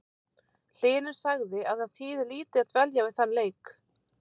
Hlynur sagði að það þýði lítið að dvelja við þann leik.